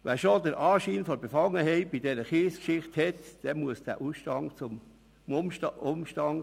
Wer schon den Anschein von Befangenheit in dieser Kiesgeschichte aufweist, muss in den Ausstand treten.